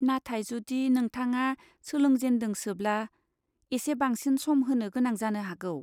नाथाय जुदि नोंथाङा सोलोंजेनदोंसोब्ला, एसे बांसिन सम होनो गोनां जानो हागौ।